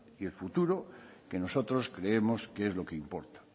y el futuro que nosotros creemos que es lo que importa